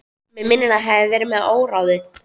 Mig minnir að ég hafi verið með óráði.